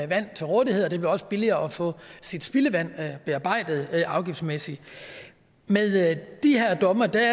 vand til rådighed og det blev også billigere at få sit spildevand bearbejdet afgiftsmæssigt med de her domme er der